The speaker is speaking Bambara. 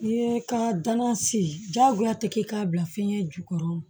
N'i ye ka danan se diyagoya tɛ k'i k'a bila fiɲɛ jukɔrɔ